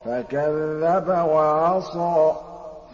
فَكَذَّبَ وَعَصَىٰ